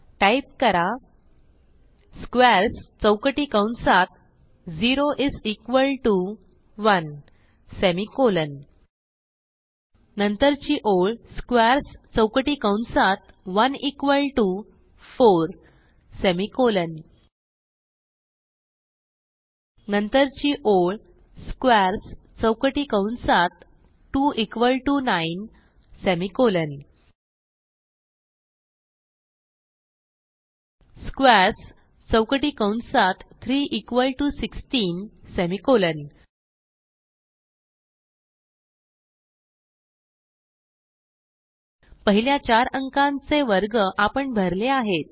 type करा squares चौकटी कंसात 0 इस इक्वॉल टीओ 1सेमिकोलॉन नंतरची ओळ स्क्वेअर्स चौकटी कंसात 1 इक्वॉल टीओ 4 सेमिकोलॉन नंतरची ओळ स्क्वेअर्स चौकटी कंसात 2 इक्वॉल टीओ 9 सेमिकोलॉन स्क्वेअर्स चौकटी कंसात 3 इक्वॉल टीओ 16 सेमिकोलॉन पहिल्या चार अंकांचे वर्ग आपण भरले आहेत